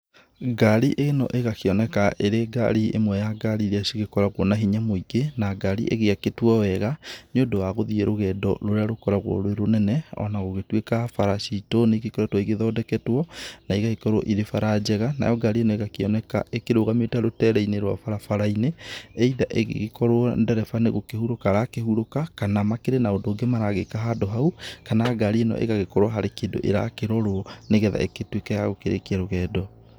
Ngari ĩno ĩgakĩoneka ĩrĩ ngari ĩmwe ya ngari iria cigĩkoragwo na hinya mũingĩ na ngari ĩgĩakĩtwo wega nĩũndũ wa gũthiĩ rũgendo rũrĩa rũkoragwo rwĩ rũnene ona gũgĩtuĩka bara citũ nĩ igĩkoretwo igĩthondeketwo na igagĩkorwo irĩ bara njega, nayo ngari ĩno ĩgakĩoneka ĩkĩrũgamĩte rũtere-inĩ rwa barabara-inĩ, either ĩgĩgĩkorwo ndereba nĩ gũkĩhurũka arakĩhurũka kana makĩrĩ na ũndũ ũngĩ maragĩka handũ hau kana ngari ĩno ĩgagĩkorwo harĩ kĩndũ ĩrakĩrorwo nĩgetha ĩgĩtuĩke ya gũkĩrĩkia rũgendo.